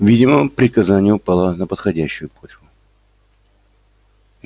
видимо приказание упало на подходящую почву